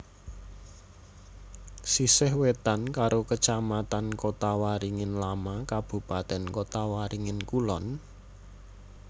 Sisih wétan karo Kacamatan Kotawaringin Lama Kabupatèn Kotawaringin Kulon